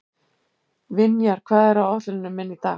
Vinjar, hvað er á áætluninni minni í dag?